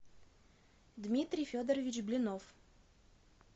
дмитрий федорович блинов